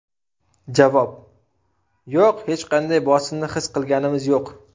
Javob: Yo‘q, hech qanday bosimni his qilganimiz yo‘q.